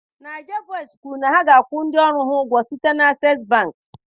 NaijaVoice kwuru na ha ga-akwụ ndị ọrụ ha ụgwọ site na Access bank.